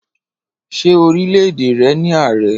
Ṣé orílẹ̀-èdè rẹ ní ààrẹ?